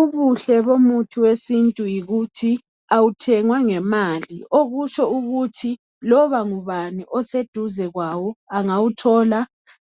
Ubuhle bomuthi wesintu yikuthi awuthengwa ngemali. Okutsho ukuthi loba ngubani oseduze kwawo angawuthola.